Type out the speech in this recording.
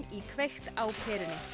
í kveikt á perunni